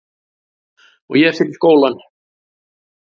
Og ég fer í skólann.